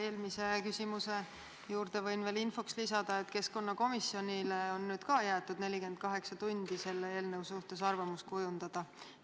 Eelmise küsimuse juurde infoks võin veel lisada, et keskkonnakomisjonile on nüüd jäetud 48 tundi selle eelnõu suhtes arvamus kujundada.